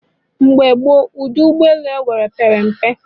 Mgbe gboo, ụdị ụgbọ elu enwere pere mpe